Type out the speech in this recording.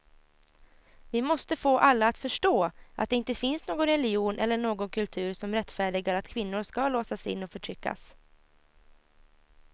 Vi måste få alla att förstå att det inte finns någon religion eller någon kultur som rättfärdigar att kvinnor ska låsas in och förtryckas.